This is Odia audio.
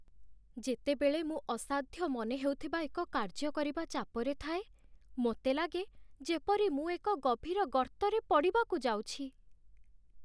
ଯେତେବେଳେ ମୁଁ ଅସାଧ୍ୟ ମନେହେଉଥିବା ଏକ କାର୍ଯ୍ୟ କରିବା ଚାପରେ ଥାଏ, ମୋତେ ଲାଗେ ଯେପରି ମୁଁ ଏକ ଗଭୀର ଗର୍ତ୍ତରେ ପଡ଼ିବାକୁ ଯାଉଛି।